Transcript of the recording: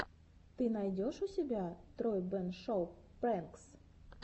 ты найдешь у себя тройбэн шоу прэнкс